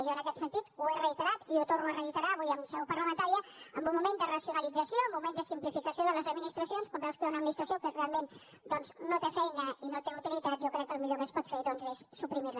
i jo en aquest sentit ho he reiterat i ho torno a reiterar avui en seu parlamentària en un moment de racionalització en un moment de simplificació de les administracions quan veus que hi ha una administració que realment doncs no té feina i no té utilitat jo crec que el millor que es pot fer és suprimir la